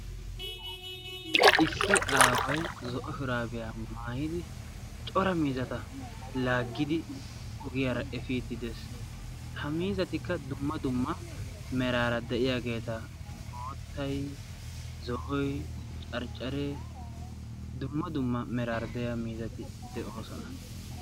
Issi aaway zo'o shuraabiyaa maayidi cora miizata laaggidi ogiyaara efiiddi de'ees. ha miizatikka dumma dumma meraara de'iyaageeta boottay zo'oy carccaree dumma dumma meraara de'iya miizati de'oosona.